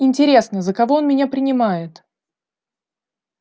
интересно за кого он меня принимает